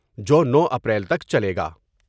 جو نو اپریل تک چلے گا ۔